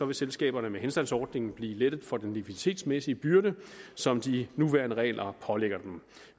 vil selskaberne med henstandsordning blive lettet for den likviditetsmæssige byrde som de nuværende regler pålægger dem